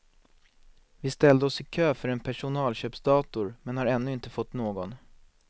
Vi ställde oss i kö för en personalköpsdator men har ännu inte fått någon.